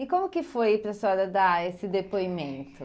E como que foi para a senhora dar esse depoimento?